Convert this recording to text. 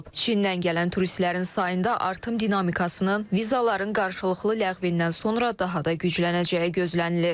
Çindən gələn turistlərin sayında artım dinamikasının vizaların qarşılıqlı ləğvindən sonra daha da güclənəcəyi gözlənilir.